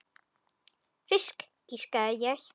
Fisk, giskaði ég.